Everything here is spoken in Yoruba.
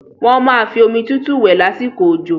Wọ́n máa fi omi tútù wẹ̀ lásìkò òjò.